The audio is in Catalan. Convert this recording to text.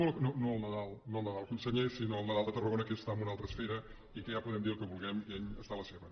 no el nadal conseller sinó el nadal de tarragona que està en una altra esfera i que ja podem dir el que vulguem que ell està a la seva